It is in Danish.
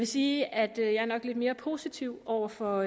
sige at jeg nok er lidt mere positiv over for